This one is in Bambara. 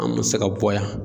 Anw mɛ se ka bɔ yan.